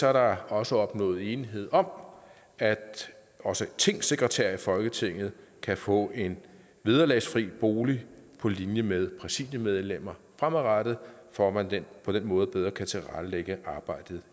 er der også opnået enighed om at også tingsekretærer i folketinget kan få en vederlagsfri bolig på linje med præsidiemedlemmer fremadrettet for at man på den måde bedre kan tilrettelægge arbejdet